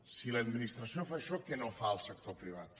si l’administració fa això què no fa el sector privat